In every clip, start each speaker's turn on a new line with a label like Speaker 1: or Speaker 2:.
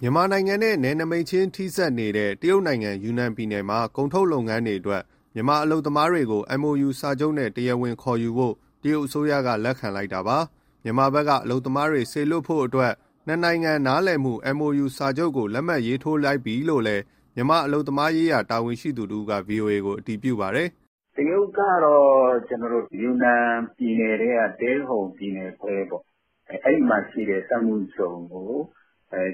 Speaker 1: မြန်မာနိုင်ငံနဲ့ နယ်စပ်ချင်းထိစပ်နေတဲ့ တရုတ်နိုင်ငံ ယူနန်ပြည်နယ်မှာ ကုန်ထုတ်လုပ်ငန်းတွေအတွက် မြန်မာအလုပ်မားတွေကို MoU စာချုပ်နဲ့ တရားဝင်ခေါ်ယူဖို့ တရုတ်အစိုးရက လက်ခံလိုက်တာ ဖြစ်ပါတယ်။ မြန်မာဘက်က အလုပ်သမားစေလွှတ်ဖို့အတွက် နှစ်နိုင်ငံ နားလည်မှု MoU စာချုပ်ကို လက်မှတ်ရေးထိုးလိုက်ပြီလို့လည်း မြန်မာအလုပ်သမားရေးဌာန တာဝန်ရှိသူ တဦးက ဗွီအိုအေကို အတည်ပြုပြောပါတယ်
Speaker 2: ။ " တရုတ်ကတော့ ယူနန်ပြည်နယ်ထဲက တယ်ဟုန်ပြည်နယ်ခွဲပေါ့ အဲဒီမှာရှိတဲ့ စက်မှုဇုံကို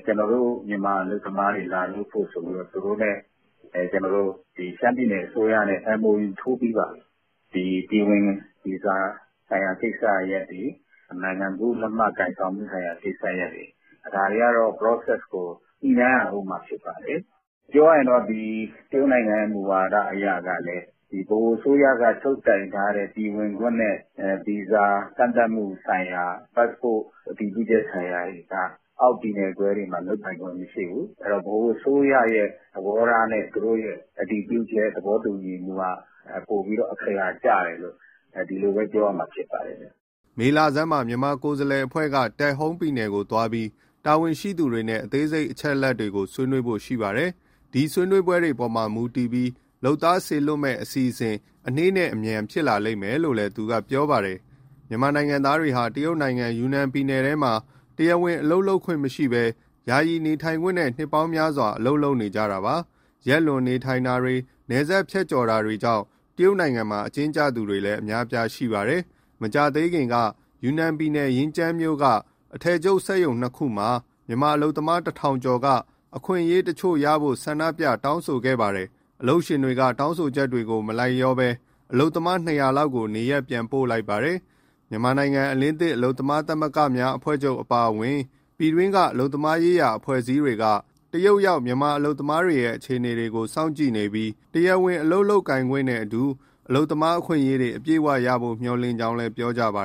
Speaker 2: ကျနော်တို့ မြန်မာအလုပ်သမားတွေ လာလုပ်ဖို့ဆိုပြီး သူတို့နဲ့ ကျနော်တို့ ရှမ်းပြည်နယ်အစိုးရနဲ့ MoU ထိုးပြီးပါပြီ။ ပြည်ဝင်ဗီဇာဆိုင်ရာ ကိစ္စရပ်တွေ၊ နိုင်ငံကူးလက်မှတ် ကိုင်ဆောင်မှုဆိုင်ရာ ကိစ္စရပ်တွေ ဒါတွေကတော့ process ကို
Speaker 1: ညှိနှိုင်းရဦး
Speaker 2: မှာ ဖြစ်ပါတယ်။ ပြောရရင် တရုတ်နိုင်ငံရဲ့ မူဝါဒအရကလည်း ဗဟိုအစိုးရကချုပ်ကိုင်ထားတဲ့ ပြည်ဝင်ခွင့်နဲ့ ဗီဇာကန့်သတ်မှုဆိုင်ရာ ပတ်စ်ပို့ အတည်ပြုချက်ဆိုင်ရာတွေက အောက်ပြည်နယ်ခွဲတွေမှာ လုပ်ကိုင်ခွင့်မရှိဘူး၊ အဲဒီတော့ ဗဟိုအစိုးရရဲ့ သဘောထားနဲ့ သူတို့ရဲ့ အတည်ပြုချက် သဘောတူညီမှုက ပိုပြီးတော့ အခရာကျတယ်လို့ ဒီလိုပဲပြောရမှာ ဖြစ်ပါတယ်ဗျ
Speaker 1: ။" မေလဆန်းမှာ မြန်မာကိုယ်စားလှယ်အဖွဲ့က တယ်ဟုန်ပြည်နယ်ကိုသွားပြီး တာဝန်ရှိသူတွေနဲ့ အသေးစိတ်အချက်တွေကို ဆွေးနွေးဖို့ရှိပါတယ်။ ဒီဆွေးနွေးပွဲအပေါ်မူတည်ပြီး လုပ်သားစေလွှတ်မဲ့အစီအစဉ် အနှေးနဲ့အမြန် ဖြစ်လာလိမ့်မယ်လို့ သူကပြောပါတယ်။ မြန်မာနိုင်ငံသားတွေဟာ တရုတ်နိုင်ငံ၊ ယူနန်ပြည်နယ်ထဲမှာ တရားဝင်အလုပ်လုပ်ခွင့်မရရှိဘဲ ယာယီနေထိုင်ခွင့်တွေနဲ့ နှစ်ပေါင်းများစွာ အလုပ်လုပ်နေကြတာပါ။ ရက်လွန်နေထိုင်တာတွေ၊ နယ်စပ်ဖြတ်ကျော်တာတွေကြောင့် တရုတ်မှာ အကျဉ်းကျသူတွေလည်း အများအပြားရှိပါတယ်။ မကြာသေးခင်ကလည်း ယူနန်ပြည်နယ်၊ ရင်ကျန်းမြို့က အထည်ချုပ်စက်ရုံ ၂ခုမှာ မြန်မာအလုပ်သမား ၁,၀၀၀ ကျော်က အခွင့်အရေးတချို့ရဖို့ ဆန္ဒပြ တောင်းဆိုခဲ့ကြပါတယ်။ အလုပ်ရှင်တွေက တောင်းဆိုချက်တွေကို မလိုက်လျောဘဲ အလုပ်သမား ၂၀၀ လောက် ကို နေရပ်ပြန်ပို့လိုက်ပါတယ်။ မြန်မာနိုင်ငံ အလင်းသစ် အလုပ်သမားသမဂ္ဂများ အဖွဲ့ချုပ်အပါအဝင် ပြည်တွင်းက အလုပ်သမားရေးရာ အဖွဲ့အစည်းတွေက တရုတ်ရောက် မြန်မာအလုပ်သမားတွေရဲ့ အခြေအနေကို စောင့်ကြည့်နေပြီး တရားဝင် အလုပ်လုပ်ခိုင်ခွင့်နဲ့အတူ အလုပ်သမားအခွင့်အရေးတွေ အပြည့်အဝရဖို့ မျှော်လင့်ကြောင်းလည်း ပြောကြပါ